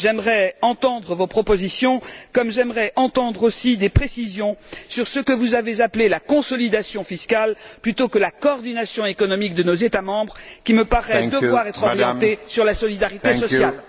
J'aimerais entendre vos propositions comme j'aimerais entendre aussi des précisions sur ce que vous avez appelé la consolidation fiscale plutôt que la coordination économique de nos États membres, qui me paraît devoir être orientée sur la solidarité sociale.